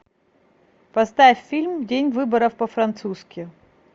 поставь фильм день выборов по французски